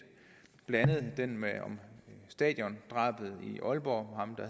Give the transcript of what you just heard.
den med stadiondrabet i aalborg